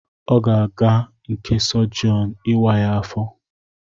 Ọ ga-aga n'nke Sogion ịwa ya afọ